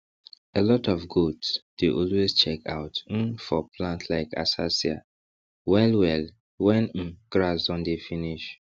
alot of goats dey always check out um for plants like acacia well well wen um grass don dey finish